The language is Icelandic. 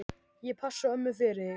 Ég passa ömmu fyrir þig.